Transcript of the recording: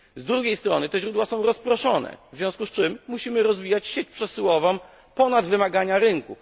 Z drugiej strony te źródła są rozproszone, w związku z czym musimy rozwijać sieć przesyłową ponad wymagania rynku.